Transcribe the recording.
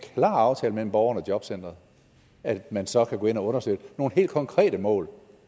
klar aftale mellem borgeren og jobcenteret at man så kan gå ind og understøtte nogle helt konkrete mål